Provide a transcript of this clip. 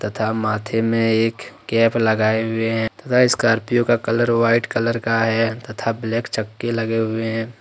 तथा माथे में एक कैप लगाए हुए हैं तथा स्कॉर्पियो का कलर वाइट कलर का है तथा ब्लैक चक्के लगे हुए हैं।